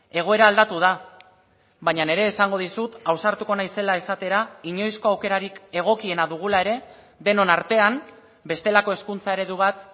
egoera aldatu da baina ere esango dizut ausartuko naizela esatera inoizko aukerarik egokiena dugula ere denon artean bestelako hezkuntza eredu bat